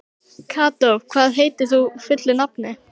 Kató, hvað heitir þú fullu nafni?